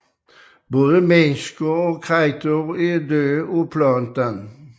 Både mennesker og kreaturer er døde af planten